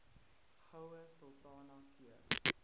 goue sultana keur